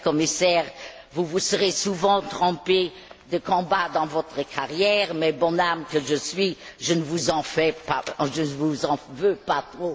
Cher Commissaire, vous vous serez souvent trompé de combat dans votre carrière mais, bonne âme que je suis, je ne vous en veux pas trop finalement. Bonne retraite, Monsieur le Commissaire.